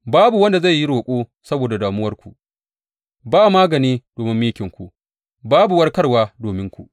Babu wanda zai yi roƙo saboda damuwarku, ba magani domin mikinku babu warkarwa dominku.